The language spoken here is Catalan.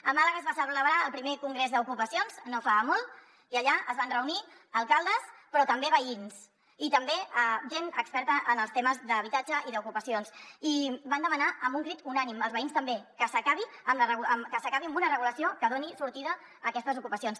a màlaga es va celebrar el primer congrés d’ocupacions no fa molt i allà es van reunir alcaldes però també veïns i també gent experta en els temes d’habitatge i d’ocupacions i van demanar amb un crit unànime els veïns també que s’acabi amb una regulació que doni sortida a aquestes ocupacions